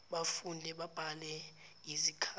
bafunde babhale yizikhali